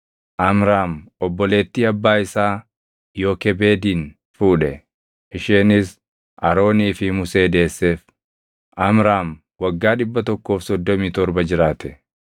Amraam obboleettii abbaa isaa Yookebeedin fuudhe; isheenis Aroonii fi Musee deesseef. (Amraam waggaa 137 jiraate.)